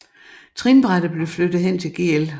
Trinbrættet blev flyttet hen til Gl